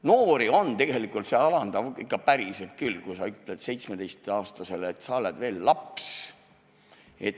Noortele tundub tegelikult alandav, kui keegi ütleb 17-aastasele, et sa oled veel laps.